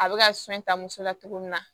A bɛ ka sɔn ta muso la cogo min na